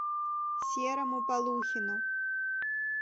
серому полухину